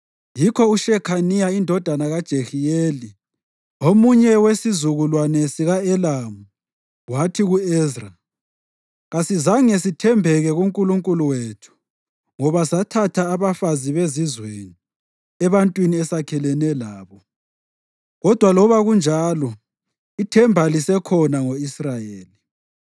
Yikho uShekhaniya indodana kaJehiyeli, omunye wesizukulwane sika-Elamu, wathi ku-Ezra, “Kasizange sithembeke kuNkulunkulu wethu ngoba sathatha abafazi bezizweni ebantwini esakhelene labo. Kodwa loba kunjalo ithemba lisekhona ngo-Israyeli.